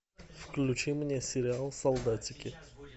включи мне сериал солдатики